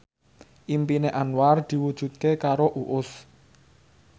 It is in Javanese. impine Anwar diwujudke karo Uus